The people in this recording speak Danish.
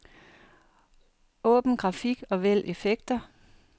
Åbn grafik og vælg effekter.